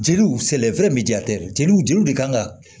Jeliw jeliw jeli de kan ka